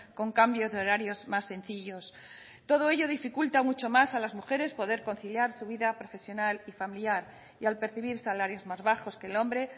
con cambios de horarios más sencillos todo ello dificulta mucho más a las mujeres poder conciliar su vida profesional y familiar y al percibir salarios más bajos que el hombre